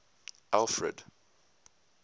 alfred